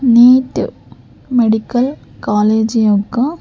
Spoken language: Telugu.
నీట్ మెడికల్ కాలేజి యొక్క--